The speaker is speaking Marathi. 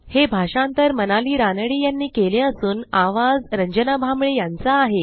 हे भाषांतर मनाली रानडे ह्यांनी केले असून आवाज रंजना भांबळे यांचा आहे